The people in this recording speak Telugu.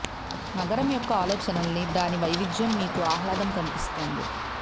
నగరం యొక్క ఆలోచనలన్నీ దాని వైవిధ్యం మీకు ఆహ్లాదం కనిపిస్తుంది